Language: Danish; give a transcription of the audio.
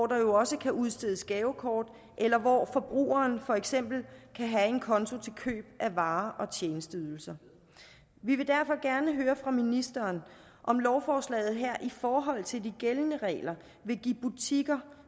der jo også kan udstedes gavekort eller hvor forbrugere for eksempel kan have en konto til køb af varer og tjenesteydelser vi vil derfor gerne høre fra ministeren om lovforslaget her i forhold til de gældende regler vil give butikker